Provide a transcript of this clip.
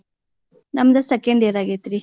ನಮ್ದು second year ಆಗೆತ್ರೀ.